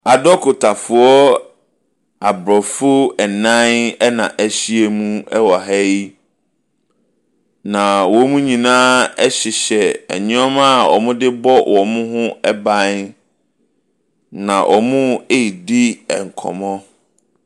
Adokotafoɔ abrɔfo ɛnan ɛna ɛhyia mu wɔ ha hyi. Na wɔn nyinaa hyehyɛ nneɛma a wɔdebɔ wɔn ho ban. Na wɔredi nkɔmmɔ.